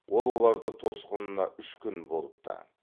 ол оларды тосқынына үш күн болыпты